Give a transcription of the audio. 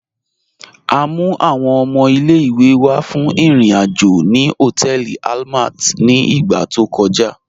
À mú àwọn ọmọ ilẹ̀-ìwé wá fún irin-ajo ni họtẹẹlì Àlmàt ni ìgbà tó kọ̀já.